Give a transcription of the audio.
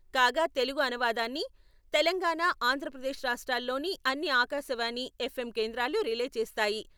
కాగా తెలుగు అనువాదాన్ని తెలంగాణ, ఆంధ్రప్రదేశ్ రాష్ట్రాల్లోని అన్ని ఆకాశవాణి, ఎఫ్ఎం కేంద్రాలు రిలే చేస్తాయి.